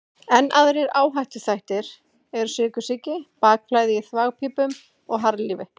Enn aðrir áhættuþættir eru sykursýki, bakflæði í þvagpípum og harðlífi.